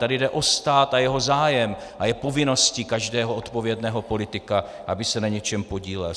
Tady jde o stát a jeho zájem a je povinností každého odpovědného politika, aby se na něčem podílel.